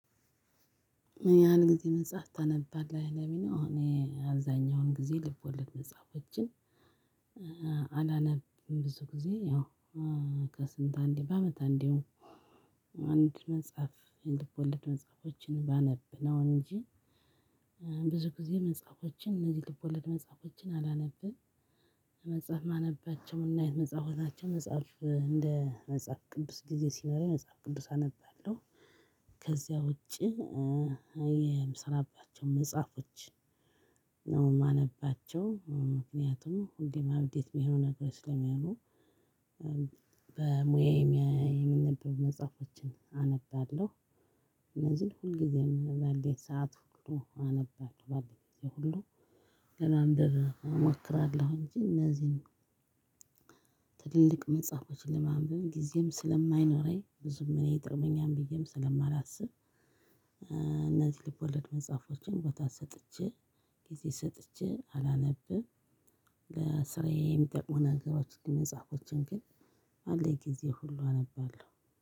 ያን ጊዜ መጽሐፍ ታነባለህ ለሚለው እኔ አዛኛውን ጊዜ ልብ ወለድ መጽሐፎችን። አላነብም ብዙ ጊዜ ያው ከስንት አንዴ በአመት አንዴው አንድ መጽሐፍ የልቦለድ መጽሐፎችን ባነብነው እንጂ። ብዙ ጊዜ መጽሐፎችን እነዚህ ልብ ወለድ መጽሐፎችን አላነብን። መጽሐፍ ማነባቸው ምን አይነት መጽሐፎች ናቸው? መጽሐፍ እንደ መጽሐፍ ቅዱስ ጊዜ ሲኖረኝ መጽሐፍ ቅዱስ አነባለሁ። ከዚያ ውጪ። የምሰራባቸውን መጽሐፎች ነው የማነባቸው ምክንያቱም ሁሌም አብዴት ቢሆን ነገር ስለሚሆኑ። በሙያየ የሚነበቡ መጽሐፎችን አነባለሁ። እነዚህን ሁልጊዜም ባለኝ ሰዓት ሁሉ አነባለሁባለኝ ሁሉ ለማንበብ እሞክራለሁ እንጂ እነዚህን ትልልቅ መጽሐፎችን ለማንበብ ጊዜም ስለማይኖረኝ ብዙም እኔ ይጠቅመኛል ብዬም ስለማላስብ። እነዚህ ልቦለድ መጽሐፎችን ቦታ ሰጥቼ ጊዜ ሰጥቼ አላነብም። ለስራዬ የሚጠቅሙ ነገሮች መጽሐፎችን ግን ባለኝ ጊዜ ሁሉ አነባለሁ።